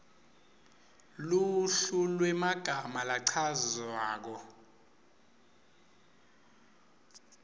luhlu lwemagama lachazwako